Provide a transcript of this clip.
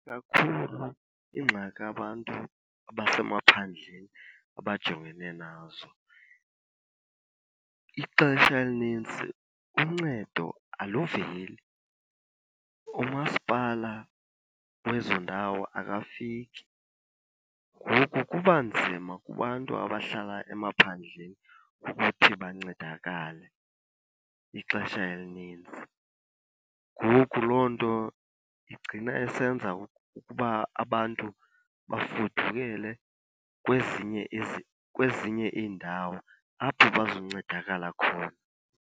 Kakhulu, iingxaki abantu abasemaphandleni abajongene nazo ixesha elinintsi uncedo aluveli, umasipala wezo ndawo akafiki. Ngoku kuba nzima kubantu abahlala emaphandleni ukuthi bancedakale ixesha elinintsi. Ngoku loo nto igcina isenza ukuba abantu bafudukele kwezinye , kwezinye iindawo apho bazoncedakala khona.